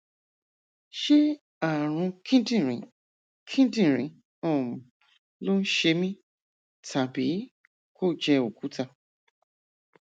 ṣé ààrùn kíndìnrín kíndìnrín um ló ń ṣe mí tàbí kó jẹ òkúta